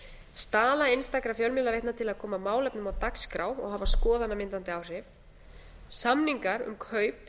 staða einstakra fjölmiðlaveitna til að koma málefnum á dagskrá og hafa skoðanamyndandi áhrif samningar um kaup